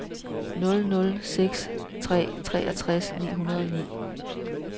nul nul seks tre treogtres ni hundrede og ni